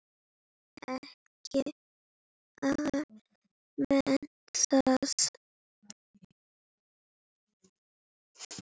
Ekki amalegt það.